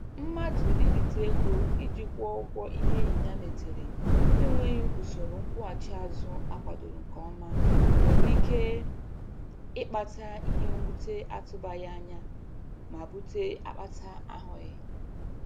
Mmadụ ibite ego iji kwuo ụgwọ ihe enyi ya metere na-enweghi usoro nkwụghachi azụ akwadoro nke ọma nwere ike ịkpata ihe mwute atụbaghị anya ma bute akpata ahụghị.